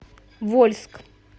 вольск